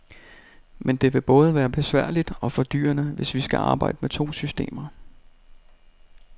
Men det vil både være besværligt og fordyrende, hvis vi skal arbejde med to systemer.